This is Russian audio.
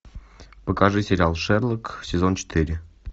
покажи сериал шерлок сезон четыре